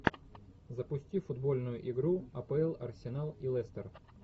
запусти футбольную игру апл арсенал и лестер